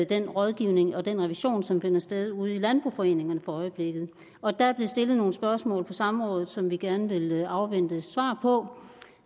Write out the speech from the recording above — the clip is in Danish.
den rådgivning og den revision som finder sted ude i landboforeningerne for øjeblikket og der blev stillet nogle spørgsmål på samrådet som vi gerne vil afvente svar på